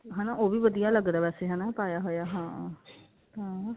ਉਹ ਵੀ ਵੈਸੇ ਵਧੀਆ ਲੱਗਦਾ ਵੈਸੇ ਹਨਾ ਪਾਇਆ ਹੋਇਆ ਹਾਂ ਹਾਂ